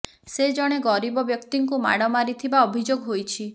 ସେ ଜଣେ ଗରିବ ବ୍ୟକ୍ତିଙ୍କୁ ମାଡି ମାରିଥିବା ଅଭିଯୋଗ ହୋଇଛି